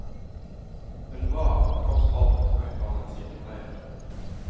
Hun var, tross alt, utdannet sykepleier.